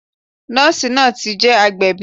Nọ́ọ̀sì náà ti je agbẹ̀bí